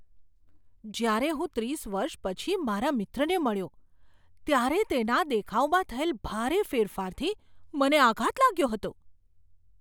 જ્યારે હું ત્રીસ વર્ષ પછી મારા મિત્રને મળ્યો ત્યારે તેના દેખાવમાં થયેલ ભારે ફેરફારથી મને આઘાત લાગ્યો હતો.